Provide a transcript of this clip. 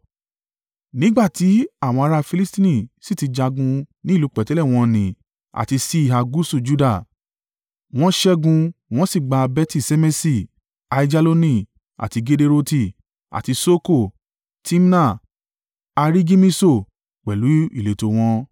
Nígbà tí àwọn ará Filistini sì ti jagun ní ìlú pẹ̀tẹ́lẹ̀ wọ́n nì àti síhà gúúsù Juda. Wọ́n ṣẹ́gun wọ́n sì gba Beti-Ṣemeṣi, Aijaloni àti Gederoti, àti Soko, Timna, a ri Gimiso, pẹ̀lú ìletò wọn.